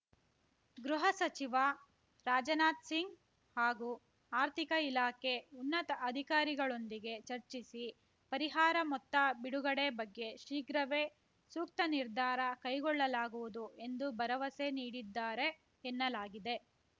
ಗೃಹ ಸಚಿವ ರಾಜನಾಥ್ ಸಿಂಗ್ ಹಾಗೂ ಆರ್ಥಿಕ ಇಲಾಖೆ ಉನ್ನತ ಅಧಿಕಾರಿಗಳೊಂದಿಗೆ ಚರ್ಚಿಸಿ ಪರಿಹಾರ ಮೊತ್ತ ಬಿಡುಗಡೆ ಬಗ್ಗೆ ಶೀಘ್ರವೇ ಸೂಕ್ತ ನಿರ್ಧಾರ ಕೈಗೊಳ್ಳಲಾಗುವುದು ಎಂದು ಭರವಸೆ ನೀಡಿದ್ದಾರೆ ಎನ್ನಲಾಗಿದೆ